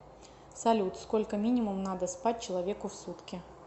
салют сколько минимум надо спать человеку в сутки